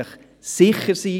Ich versichere Ihnen: